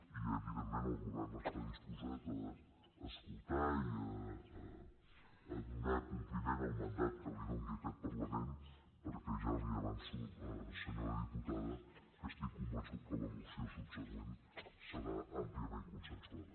i evidentment el govern està disposat a escoltar i a donar compliment al mandat que li doni aquest parlament perquè ja li avanço senyora diputada que estic convençut que la moció subsegüent serà àmpliament consensuada